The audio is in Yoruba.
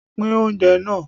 Pín oúnjẹ náà